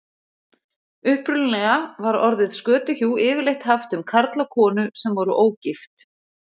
Upprunalega var orðið skötuhjú yfirleitt haft um karl og konu sem voru ógift.